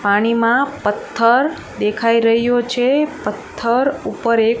પાણીમાં પથ્થર દેખાય રહ્યો છે પથ્થર ઉપર એક--